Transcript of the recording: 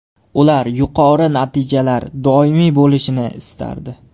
Ular yuqori natijalar doimiy bo‘lishini istardi.